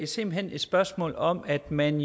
simpelt hen et spørgsmål om at man